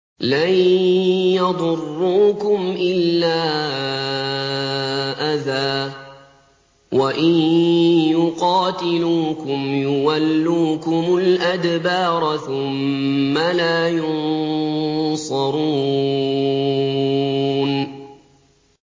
لَن يَضُرُّوكُمْ إِلَّا أَذًى ۖ وَإِن يُقَاتِلُوكُمْ يُوَلُّوكُمُ الْأَدْبَارَ ثُمَّ لَا يُنصَرُونَ